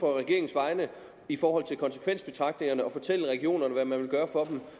på regeringens vegne i forhold til konsekvensbetragtningerne ude at fortælle regionerne hvad man vil gøre for